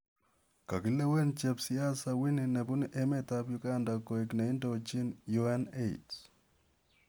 Kokilewen chepsiasa Winnie nebuunu emet ap uganda koeek neindoojini UNAIDS